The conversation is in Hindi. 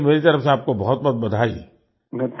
चलिए मेरी तरफ़ से आपको बहुतबहुत बधाई